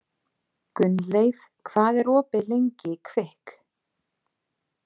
Gunnleif, hvað er opið lengi í Kvikk?